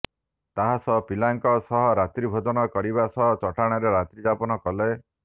ତା ସହ ସ୍କୁଲପିଲାଙ୍କ ସହ ରାତ୍ରିଭୋଜନ କରିବା ସହ ଚଟାଣରେ ରାତ୍ରି ଯାପନ କଲେ